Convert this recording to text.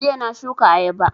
Jiya na shuka ayaba